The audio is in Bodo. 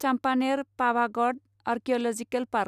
Champaner Pavagadh archaeological park